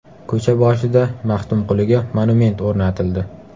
Ko‘cha boshida Maxtumquliga monument o‘rnatildi.